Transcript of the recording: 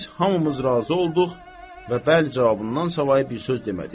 Biz hamımız razı olduq və bəli cavabından savayı bir söz demədik.